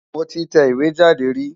Mo ti tẹ ìwé jáde rí.